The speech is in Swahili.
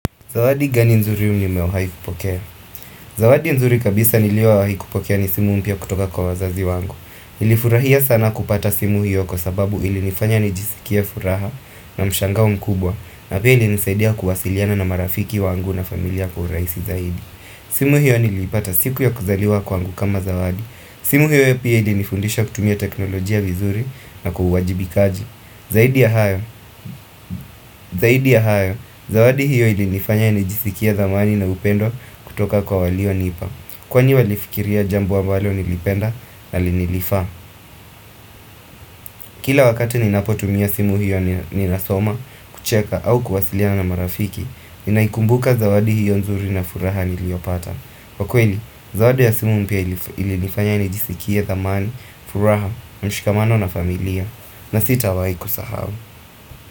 Zawadi gani nzuri nimewahi kupokea? Zawadi nzuri kabisa niliyowahi kupokea ni simu mpya kutoka kwa wazazi wangu. Nilifurahia sana kupata simu hiyo kwa sababu ilinifanya nijisikie furaha na mshangao mkubwa. Na pia ilinisaidia kuwasiliana na marafiki wangu na familia kwa urahisi zaidi. Simu hiyo nilipata siku ya kuzaliwa kwangu kama zawadi. Simu hiyo ya pia ilinifundisha kutumia teknolojia vizuri na uwajibikaji. Zaidi ya hayo. Zaidi ya hayo, zawadi hiyo ilinifanya nijisikie dhamani na upendo kutoka kwa walio nipa Kwani walifikiria jambo ambalo nilipenda na linilifa Kila wakati ninapotumia simu hiyo ninasoma, kucheka au kuwasilia na marafiki Ninaikumbuka zawadi hiyo nzuri na furaha niliopata kwa kweli, zawadi ya simu mpya ilinifanya nijisikie dhamani, furaha, mshikamano na familia na sitawahi ikusahau.